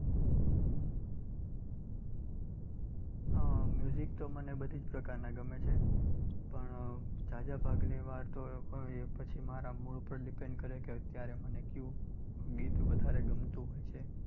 આહ તો મને બધી જ પ્રકારના ગમે છે પણ ઝાઝા ભાગ લેવા તો એ પછી મારા mood ઉપર depend કરે કે અત્યારે મને ક્યું ગીત વધારે ગમતું હોય છે.